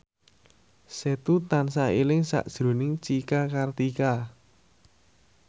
Setu tansah eling sakjroning Cika Kartika